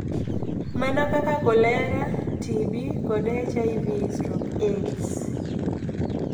Mana kaka kolera, TB, kod HIV/AIDS.